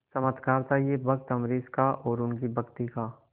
चमत्कार था यह भक्त अम्बरीश का और उनकी भक्ति का